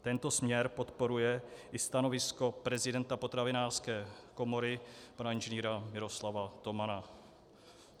Tento směr podporuje i stanovisko prezidenta Potravinářské komory pana Ing. Miroslava Tomana.